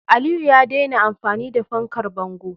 Aliyu ya daina amfani da fankar bango.